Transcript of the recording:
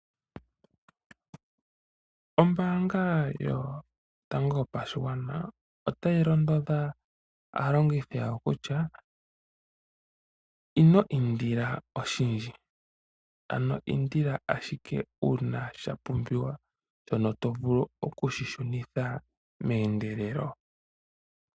Ombaanga yotango yopashigwana otayi londodha aalongithi yawo kutya ino indila oshindji, ano indila ashike uuna sha pumbiwa shono to vulu oku shi shunitha meendelelo.